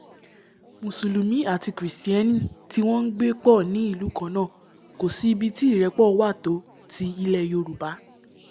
mùsùlùmí àti kìrìstẹ́nì tí wọ́n ngbé pọ̀ ní ìlú kannáà kòsí ibi tí ìrẹ́pọ̀ wà tó ti ilẹ̀ yorùbá!